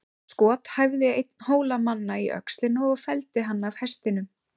Skot hæfði einn Hólamanna í öxlina og felldi hann af hestinum.